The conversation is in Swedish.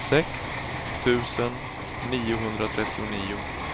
sex tusen niohundratrettionio